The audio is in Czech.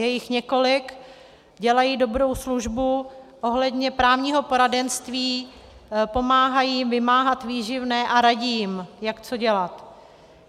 Je jich několik, dělají dobrou službu ohledně právního poradenství, pomáhají vymáhat výživné a radí jim, jak co dělat.